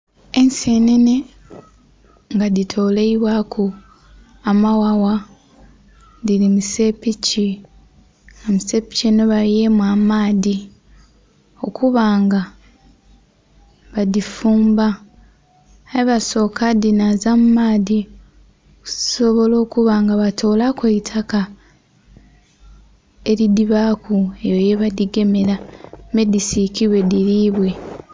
Ensenene nga dhi toleibwaku amaghagha, dhili musepiki nga musepiki enho bayuyemu amaadhi okuba nga badhifuumba aye basoka kudhinhaza mu maadhi okusobola okuba nga batolaku eitaka eridhibaku eyo ye badhigemera me dhisikibwe dhilibwe.